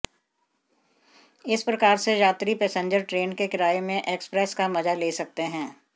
एक प्रकार से यात्री पैसेंजर ट्रेन के किराए में एक्सप्रेस का मजा ले सकते हैं